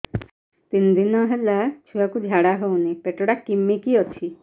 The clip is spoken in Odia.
ତିନି ଦିନ ହେଲା ଛୁଆକୁ ଝାଡ଼ା ହଉନି ପେଟ ଟା କିମି କି ଅଛି